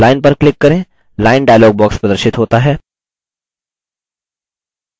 lineपर click करें line dialog box प्रदर्शित होता है